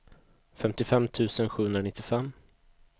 femtiofem tusen sjuhundranittiofem